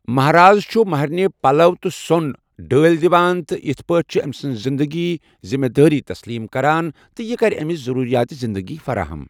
مہرازٕ چھُ مہرنہِ پَلَو تہٕ سوٚن ڈٲلۍ دِوان تہٕ اِتھہ پٲٹھۍ چھُ أمۍ سٕنٛدِ پوٗرٕ زِنٛدٕگی ہٕنٛز ذمہٕ دٲری تسلیم کران زِ یہِ کَرِ أمِس ضروٗریات زِنٛدٕگی فراہم۔